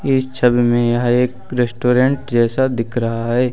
इस छवि में यह एक रेस्टोरेंट जैसा दिख रहा है।